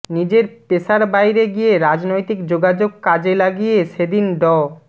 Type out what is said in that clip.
নিজের পেশার বাইরে গিয়ে রাজনৈতিক যোগাযোগ কাজে লাগিয়ে সেদিন ড